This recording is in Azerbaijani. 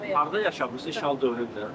Harda yaşamısınız işğal dövründə?